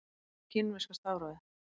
Hvernig er kínverska stafrófið?